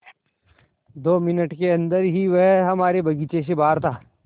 दो मिनट के अन्दर ही वह हमारे बगीचे से बाहर था